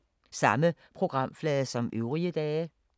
Samme programflade som øvrige dage